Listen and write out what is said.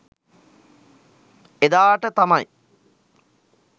එදාට තමයි